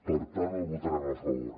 per tant el votarem a favor